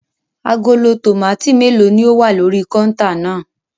Agolo tòmátì mélòó ni ó wà lórí kọ́úntà náà?